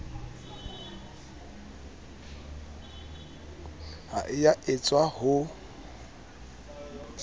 ha e a etswa ho